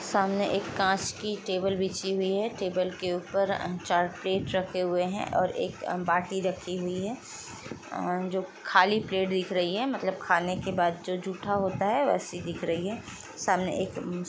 सामने एक कांच की टेबल बिछी हुई है टेबल के ऊपर चार प्लेट रखे हुए हैं और एक अंबाती रखी हुई है आ उम जो खाली प्लेट दिख रही है मतलब खाने के बाद जो झूठा होता है वैसी दिख रही है सामने एक --